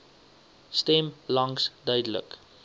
stem langs duidelik